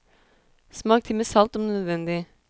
Smak til med salt om nødvendig.